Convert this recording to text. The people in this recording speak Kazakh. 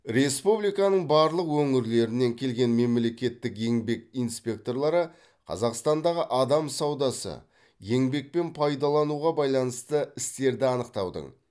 республиканың барлық өңірлерінен келген мемлекеттік еңбек инспекторлары қазақстандағы адам саудасы еңбекпен пайдалануға байланысты істерді анықтаудың